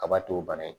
Kaba to bana in